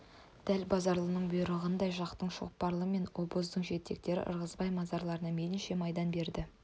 дәл базаралының бұйырғаныңдай жатақтың шоқпарлары мен обоздың жетектері ырғызбай мырзаларына мейлінше майдан берді